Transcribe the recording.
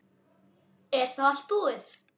Er þá allt búið?